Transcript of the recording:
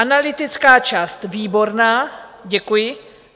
Analytická část výborná - děkuji.